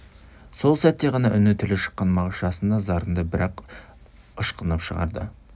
сол сәтте ғана үні тілі шыққан мағыш жасын да зарын да бір-ақ ышқынып шығарды